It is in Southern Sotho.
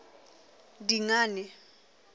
dingane